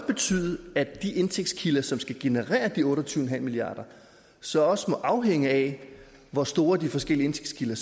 betyde at de indtægtskilder som skal generere de otte og tyve milliard kr så også må afhænge af hvor store de forskellige indtægtskilder